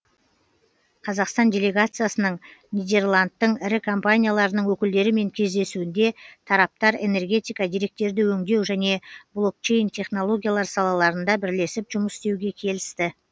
қазақстан делегациясының нидерландтың ірі компанияларының өкілдерімен кездесуінде тараптар энергетика деректерді өңдеу және блокчейн технологиялар салаларында бірлесіп жұмыс істеуге келісті